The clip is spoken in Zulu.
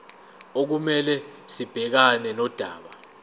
okumele sibhekane nodaba